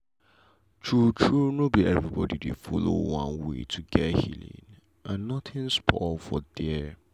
true true no be everybody dey follow one way to get healing and nothing spoil for there.